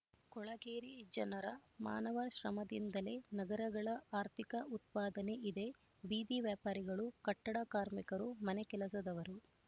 ಕೊಳಗೇರಿ ಜನರ ಮಾನವ ಶ್ರಮದಿಂದಲೇ ನಗರಗಳ ಆರ್ಥಿಕ ಉತ್ಪಾದನೆ ಇದೆ ಬೀದಿ ವ್ಯಾಪಾರಿಗಳು ಕಟ್ಟಡ ಕಾರ್ಮಿಕರು ಮನೆಗೆಲಸದವರು